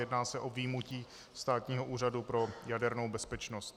Jedná se o vyjmutí Státního úřadu pro jadernou bezpečnost.